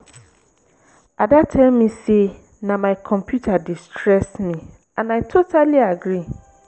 ada tell me say na my computer dey stress me and i totally agree